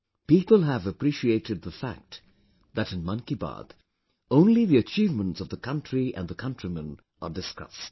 People have appreciated the fact that in 'Mann Ki Baat' only the achievements of the country and the countrymen are discussed